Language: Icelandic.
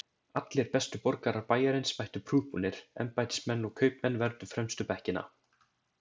Allir bestu borgarar bæjarins mættu prúðbúnir, embættismenn og kaupmenn vermdu fremstu bekkina.